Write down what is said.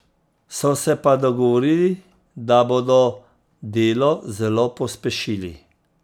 So se pa dogovorili, da bodo delo zelo pospešili.